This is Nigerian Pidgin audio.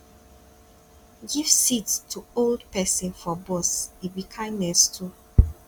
give seat to old pesin for bus e be kindness too